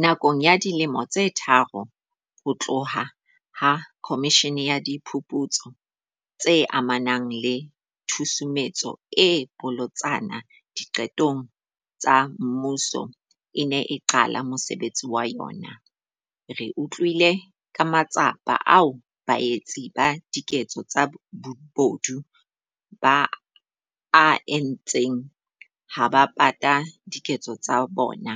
Nakong ya dilemo tse tharo ho tloha ha Khomishene ya Diphuputso tse amanang le Tshusumetso e Bolotsana Diqetong tsa Mmuso e ne e qala mosebetsi wa yona, re utlwile ka matsapa ao baetsi ba diketso tsa bobodu ba a entseng ha ba pata diketso tsa bona